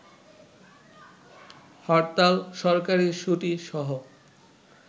হরতাল, সরকারী ছুটি সহ